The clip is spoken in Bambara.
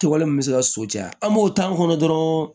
Kɛwale min bɛ se ka so caya an b'o ta kɔnɔ dɔrɔn